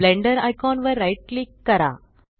blender icon वर right click करा